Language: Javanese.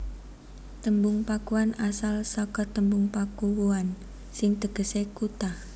Tembung Pakuan asal saka tembung Pakuwuan sing tegesé kutha